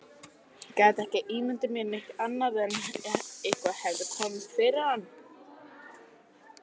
Gat ekki ímyndað mér annað en að eitthvað hefði komið fyrir hann.